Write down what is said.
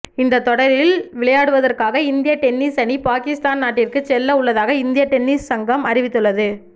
இந்த தொடரில் விளையாடுவதற்காக இந்திய டென்னிஸ் அணி பாகிஸ்தான் நாட்டிற்கு செல்ல உள்ளதாக இந்திய டென்னிஸ் சங்கம் அறிவித்துள்ளது